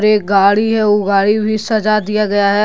एक गाड़ी है वो गाड़ी भी साजा दिया गया है।